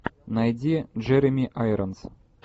найди джереми айронс